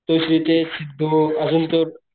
तो सिद्धेश सिद्धू आजून तो